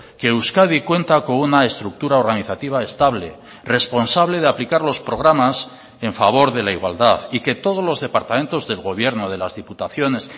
que euskadi cuenta con una estructura organizativa estable responsable de aplicar los programas en favor de la igualdad y que todos los departamentos del gobierno de las diputaciones